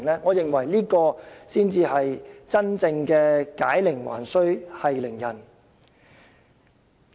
我認為這才是真正的解鈴還須繫鈴人。